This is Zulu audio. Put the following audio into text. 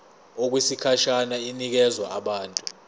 okwesikhashana inikezwa abantu